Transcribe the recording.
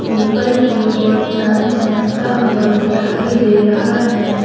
ऊपर की ओर चांद चमकता हुआ दिखाई दे रहा है।